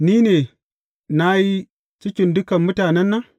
Ni ne na yi cikin dukan mutanen nan?